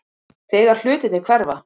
Þegar hlutirnir hverfa